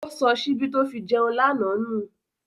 Ó sọ ṣíbí tó fi jẹun lánàá nù.